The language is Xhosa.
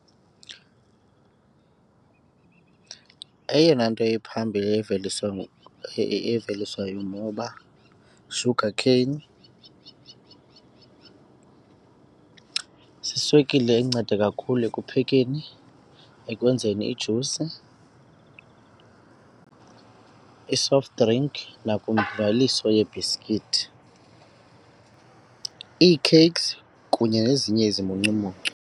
Eyona nto iphambili eveliswayo eveliswa yimoba sugarcane, ziswekile enceda kakhulu ekuphekeni, ekwenzeni ijusi, i-soft drink nakwimveliso yebiskithi, ii-cakes kunye nezinye izimuncumuncu.